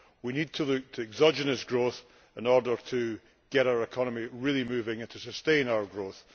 We need to look to exogenous growth in order to get our economy really moving and to sustain our growth.